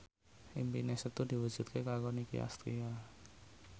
impine Setu diwujudke karo Nicky Astria